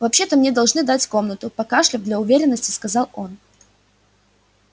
вообще то мне должны дать комнату покашляв для уверенности сказал он